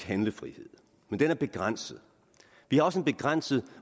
handlefrihed men den er begrænset vi har også en begrænset